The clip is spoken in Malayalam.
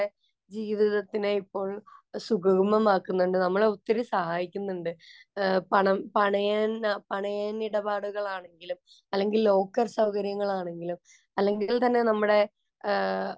ജീവിതത്തിനെ ഇപ്പോള്‍ സുഗമമാക്കുന്നുണ്ട്. നമ്മളെ ഒത്തിരി സഹായിക്കുന്നുണ്ട്. പണം പണയം, പണയനിടപാടുകള്‍ ആണെങ്കിലും, അല്ലെങ്കില്‍ ലോക്കര്‍ സൗകര്യങ്ങളാണെങ്കിലും അല്ലെങ്കില്‍ തന്നെ നമ്മുടെ ആ